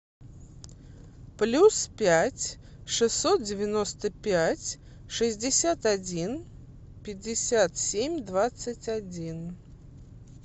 плюс пять шестьсот девяносто пять шестьдесят один пятьдесят семь двадцать один